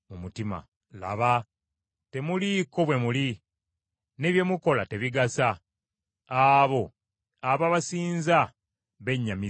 Laba, temuliiko bwe muli ne bye mukola tebigasa. Abo ababasinza bennyamiza.